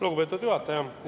Lugupeetud juhataja!